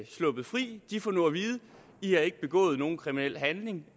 sluppet fri de får nu at vide i har ikke begået nogen kriminel handling